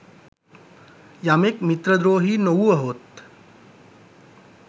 යමෙක් මිත්‍රද්‍රෝහී නොවුවහොත්